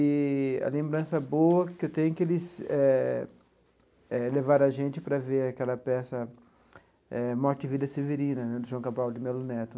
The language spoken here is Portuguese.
Eee a lembrança boa que eu tenho é que eles eh eh levaram a gente para ver aquela peça, eh Morte e Vida Severina, de João Cabral de Melo Neto.